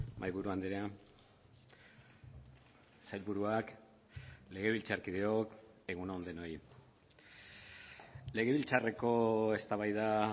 mahaiburu andrea sailburuak legebiltzarkideok egun on denoi legebiltzarreko eztabaida